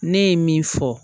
Ne ye min fɔ